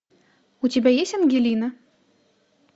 у тебя есть ангелина